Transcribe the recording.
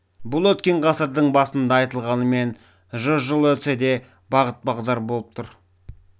бұл өткен ғасырдың басында айтылғанымен жүз жыл өтсе де бағыт-бағдар болып тұр